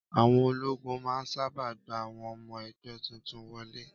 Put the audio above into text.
Àwọn ológun máa n sáábà gba àwọn ọmọ ẹgbẹ́ tuntun wọlé